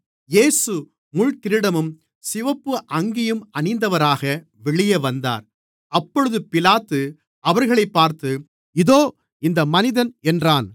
இயேசு முள்கிரீடமும் சிவப்பு அங்கியும் அணிந்தவராக வெளியே வந்தார் அப்பொழுது பிலாத்து அவர்களைப் பார்த்து இதோ இந்த மனிதன் என்றான்